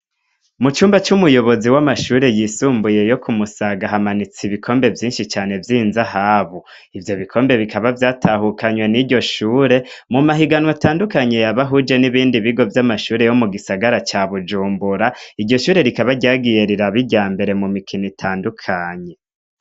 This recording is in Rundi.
Mu cumba c' umuyobozi w' amashure y' isumbuye yo kumusaga, hamanitse ibikombe vyinshi cane vy' inzahabu, ivyo bikombe bikaba vyatahukanywe niryo shure mu mahiganw' atandukanye, yabahuje n' ibindi bigo vyo mu gisagara ca bujumbura, iryo shure rikaba ryagiye rirab' iryambere mu mahiganw' atandukanye.